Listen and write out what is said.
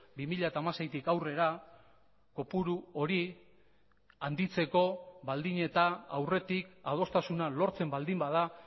bi mila hamaseitik aurrera kopuru hori handitzeko baldin eta aurretik adostasuna lortzen baldin bada